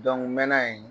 n mɛna yen